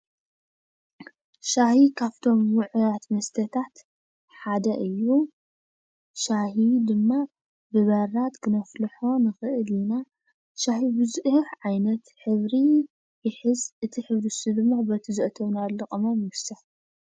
ሻሂ ካብቶም ዉዕያት መስተታት ሓደ እዪ። ሻሂ ድማ ብበራድ ክነፍልሖ ንኽእል ኢና፣ ሻሂ ብዙሕ ዓይነት ሕብሪ ይሕዝ፣ እቲ ሕብሪ ንሱ ድማ በቲ ዘእተናሉ ቅመም ይዉሰን ።